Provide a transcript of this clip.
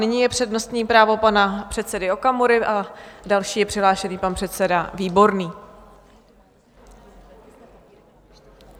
Nyní je přednostní právo pana předsedy Okamury a další je přihlášen pan předseda Výborný.